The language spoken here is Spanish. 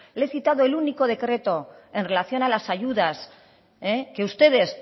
le he citado el único decreto en relación a las ayudas que ustedes